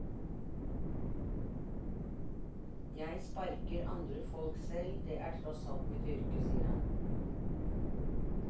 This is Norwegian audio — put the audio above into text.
Jeg sparker andre folk selv, det er tross alt mitt yrke, sier han.